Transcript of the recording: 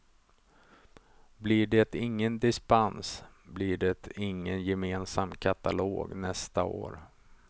Blir det ingen dispens blir det ingen gemensam katalog nästa år.